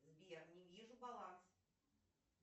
сбер не вижу баланс